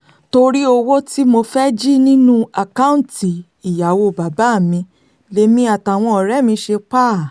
torí owó tí mo fẹ́ẹ́ jì nínú àkáùntì ìyàwó bàbá mi lèmi àtàwọn ọ̀rẹ́ mi ṣe pa á